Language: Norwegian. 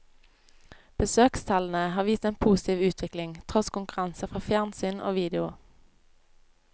Besøkstallene har vist en positiv utvikling, tross konkurranse fra fjernsyn og video.